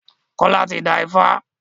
Kola tí dá ifá.